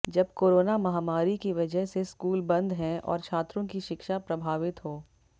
जब कोरोना महामारी की वजह से स्कूल बंद हैं और छात्रों की शिक्षा प्रभावित हो